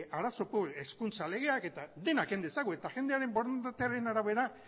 arazo publikoak hezkuntza legeak dena ken dezagun eta jendearen borondatearen arabera